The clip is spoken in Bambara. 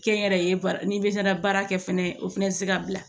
Kɛnyɛrɛye baara n'i bɛ baara kɛ fɛnɛ o fɛnɛ bɛ se ka bila